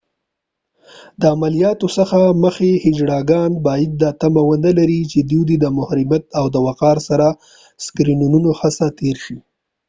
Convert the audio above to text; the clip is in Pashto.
د عملیاتو څخه مخکې هيجړاګان باید دا تمه ونه لري چې دوی دې د محرمیت او وقار سره د سکینرونو څخه تير شي